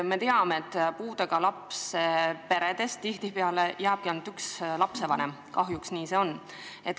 Me teame, et puudega lapsega peresse tihtipeale jääbki ainult üks lapsevanem, kahjuks nii see on.